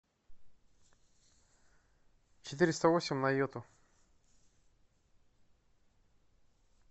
четыреста восемь на йоту